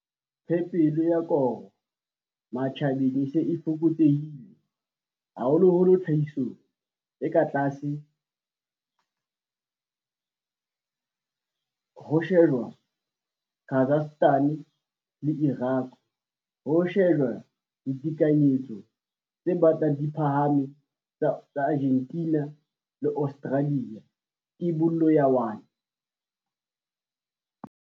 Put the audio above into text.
Phepelo ya koro matjhabeng e se e fokotsehile haholoholo tlhahisong e tlase ha ho shejwa Kazakhstan le Iraq, ho shejwa ditekanyetso tse batlang di phahaphahame tsa Argentina le Australia, Theibole ya 1.